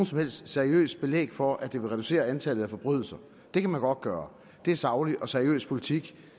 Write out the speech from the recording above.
som helst seriøst belæg for at det vil reducere antallet af forbrydelser det kan man godt gøre det er saglig og seriøs politik